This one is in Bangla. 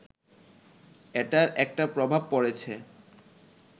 এটার একটা প্রভাব পড়েছে